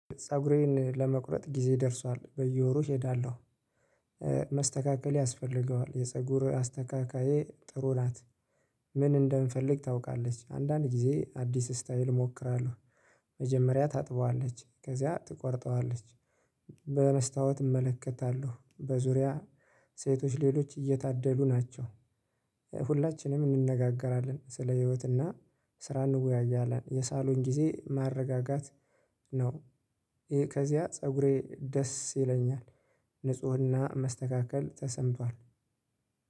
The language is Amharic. ፀጉሬን ለመቁረጥ ጊዜ ደርሷል በየወሩ እሄዳለሁ መስተካከል ያስፈልገዋል የፀጉር አስተካካዬ ጥሩ ናት። ምን እንደምፈልግ ታውቃለች አንዳንድ ጊዜ አዲስ ስታይል እሞክራለሁ። መጀመሪያ ታጥበዋለች ከዚያ ትቆርጠዋለች። በመስታወት እመለከታለሁ በዙሪያ ሴቶች ሌሎች እየታደሉ ናቸው። ሁላችንም እንነጋገራለን ስለ ህይወትና ስራ እንወያያለን የሳሎን ጊዜ ማረጋጋት ነው። ይሄ ከዚያ ፀጉሬ ደስ ይለኛል። ንፁህና መስተካከል ተሰምቷል